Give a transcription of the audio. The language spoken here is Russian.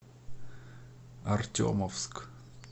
артемовск